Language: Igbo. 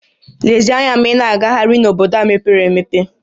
Lezie anya ma ị na-agagharị n'obodo a mepere emepe!